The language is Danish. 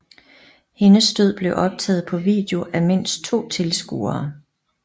Hendes død blev optaget på video af mindst to tilskuere